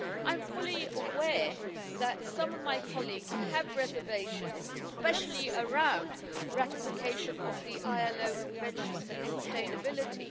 I am fully aware that some of my colleagues have reservations, especially around the ratification of the ILO Conventions and sustainability.